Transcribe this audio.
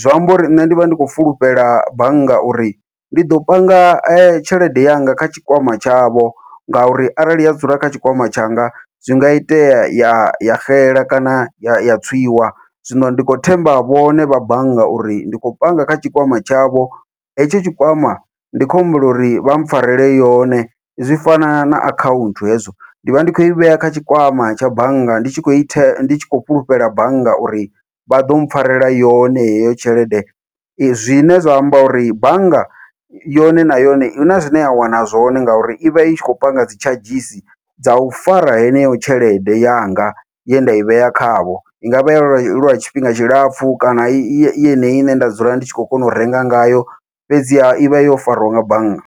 zwiamba uri nṋe ndi vha ndi khou fulufhela bannga uri ndi ḓo panga tshelede yanga kha tshikwama tshavho, ngauri arali ya dzula kha tshikwama tshanga zwi nga itea ya ya xela kana ya tswiwa zwino ndi khou themba vhone vha bannga uri ndi khou panga kha tshikwama tshavho hetsho tshikwama ndi kho humbela uri vha mpfharele yone zwi fana na akhaunthu hezwo. Ndi vha ndi khou i vhea kha tshikwama tsha bannga ndi tshi khou ita ndi tshi khou fhulufhela bannga uri vha ḓo mpfharela yone heyo tshelede zwine zwa amba uri bannga yone na yone huna zwine ya wana zwone ngauri ivha i tshi khou panga dzi tshadzhisi dza u fara heneyo tshelede yanga ye nda i vhea khavho, i ngavha iya lwa lwa tshifhinga tshilapfhu kana i yeneyi ine nda dzula ndi tshi khou kona u renga ngayo fhedziha i vha yo fariwa nga bannga.